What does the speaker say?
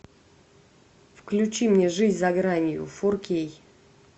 включи мне жизнь за гранью фор кей